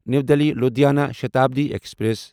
نیو Delhi Ludhiana Shatabdi express